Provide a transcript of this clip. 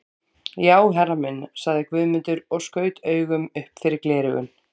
Já herra minn, sagði Guðmundur og skaut augum upp fyrir gleraugun.